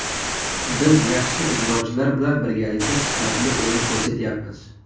Biz yaxshi ijrochilar bilan birgalikda sifatli o‘yin ko‘rsatyapmiz.